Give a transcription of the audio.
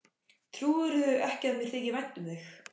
Trúirðu ekki að mér þyki vænt um þig?